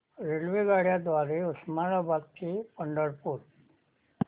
रेल्वेगाड्यां द्वारे उस्मानाबाद ते पंढरपूर